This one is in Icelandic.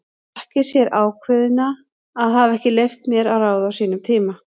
Þakki sér ákveðnina að hafa ekki leyft mér að ráða á sínum tíma.